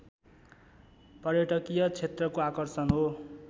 पर्यटकीय क्षेत्रको आकर्षण हो